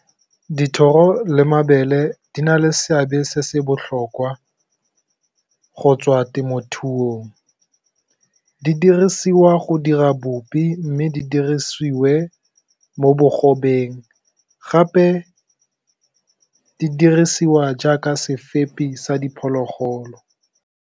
Dithoro le mabele di na le seabe se se botlhokwa go tswa temothuong di dirisiwa go dira bopi, mme di dirisiwe mo bogobeng gape di dirisiwa jaaka sefepi sa diphologolo.